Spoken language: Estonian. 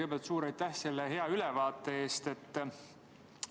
Kõigepealt suur aitäh selle hea ülevaate eest!